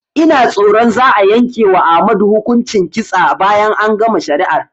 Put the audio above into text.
Ina tsoron za'a yanke wa Ahmadu hukuncin kitsa bayan an gama shari'ar